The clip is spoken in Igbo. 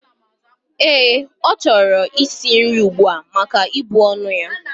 Ee, ochoro is nrii ugbua maka ibu onu ya.